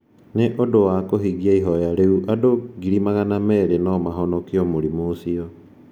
Nĩ ũndũ wa kũhingia ihoya rĩu, andũ 200,000 no mahonokio mũrimũ ũcio.